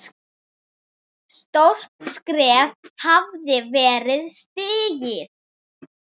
Stórt skref hafði verið stigið.